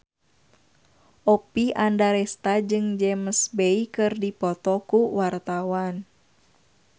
Oppie Andaresta jeung James Bay keur dipoto ku wartawan